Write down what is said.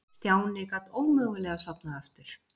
Stjáni gat ómögulega sofnað aftur.